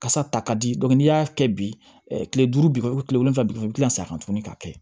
Kasa ta ka di n'i y'a kɛ bi kile duuru kile wolonwula bi wɔɔrɔ bi kila ka segin a kan tuguni k'a kɛ